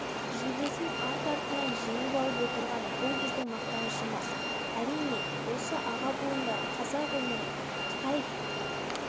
жүлдесін арт-артынан жеңіп алып отырған бұл біздің мақтанышымыз әрине осы аға буындар қазақ өмірін қытай